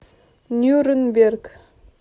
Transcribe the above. нюрнберг